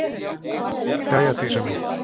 Jæja Dísa mín.